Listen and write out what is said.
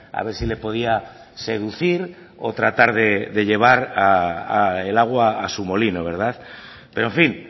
a ver si le podía seducir o tratar de llevar el agua a su molino pero en fin